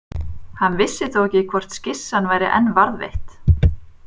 Hann vissi þó ekki hvort skissan væri enn varðveitt.